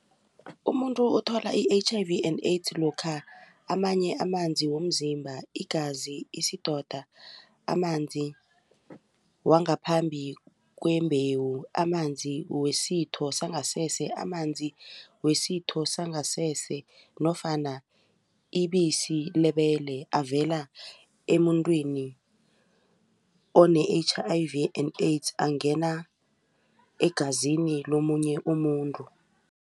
Umuntu othola i-H_I_V and AIDS lokha amanye amanzi womzimba, igazi, isidoda amanzi wangaphambi kwembewu amanzi wesitho sangasese nofana ibisi lebele avela emuntwini one-H_I_V and AIDS angena egazini lomunye umuntu.